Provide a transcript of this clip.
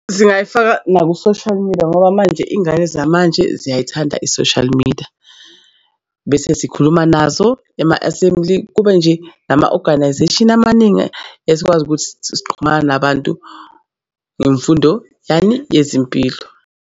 Singayifaka naku-social media ngoba manje iy'ngane zamanje ziyayithanda i-social media bese sikhuluma nazo ema-assembly kube nje nama-organisation amaningi esikwazi ukuthi siqhumana nabantu ngemfundo yani yezimpilo.